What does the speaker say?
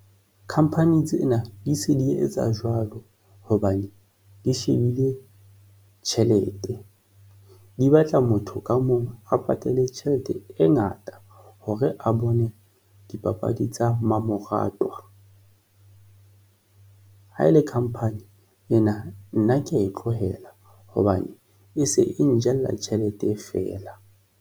Khamphani tsena di se di etsa jwalo hobane di shebile tjhelete, di batla motho ka mong a patale tjhelete e ngata hore a bone dipapadi tsa mamoratwa ha ele company ena, nna ke ya e tlohela hobane e se e njela tjhelete e fela.